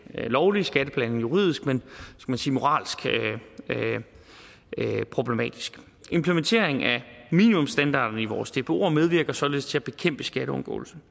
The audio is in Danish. lovlig skatteplanlægning juridisk men moralsk er det problematisk implementering af minimumsstandarderne i vores dboer medvirker således til at bekæmpe skatteundgåelse